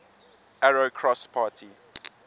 arrow cross party